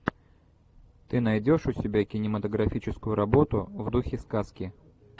ты найдешь у себя кинематографическую работу в духе сказки